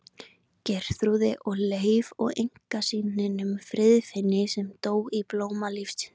Geirþrúði og Leifi og einkasyninum Friðfinni sem dó í blóma lífsins.